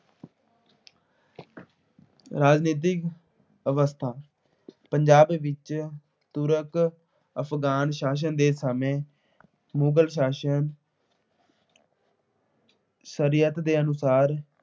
ਰਾਜਨੀਤਿਕ ਅਵਸਥਾ ਪੰਜਾਬ ਵਿੱਚ ਤੁਰਕ ਅਫ਼ਗਾਨ ਸ਼ਾਸਨ ਦੇ ਸਮੇਂ ਮੁਗਲ ਸ਼ਾਸਨ ਸਰੀਅਤ ਦੇ ਅਨੁਸਾਰ